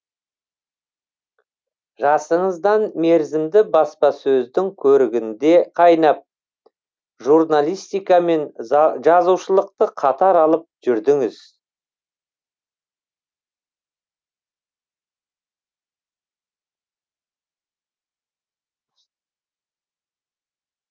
жасыңыздан мерзімді баспасөздің көрігінде қайнап журналистика мен жазушылықты қатар алып жүрдіңіз